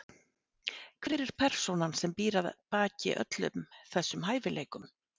Hver er persónan sem býr að baki öllum þessum hæfileikum?